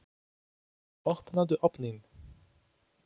Opnaðu ofninn!